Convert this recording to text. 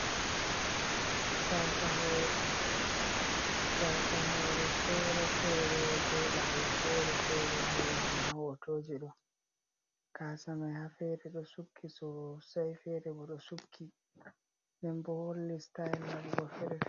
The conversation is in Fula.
Gasa hore fere fere be labol fere fere holla ma hotoji do, gasamai ha fere do sukki sosai fere bo do sukki denbo do holli stayel bo fere .